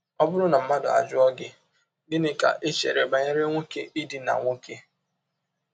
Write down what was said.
Ọ bụrụ na mmadụ ajụọ gị: “ Gịnị ka i chere banyere nwọke ịdina nwọke? ”